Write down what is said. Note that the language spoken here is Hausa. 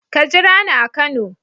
Ka jira ni a kano.